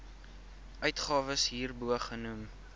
uitgawes hierbo genoem